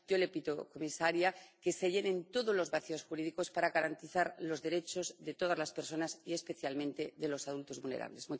Yo le pido, comisaria, que se llenen todos los vacíos jurídicos para garantizar los derechos de todas las personas, y especialmente de los adultos vulnerables.